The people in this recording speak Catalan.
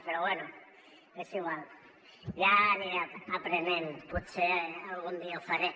però bé és igual ja n’aniré aprenent potser algun dia ho faré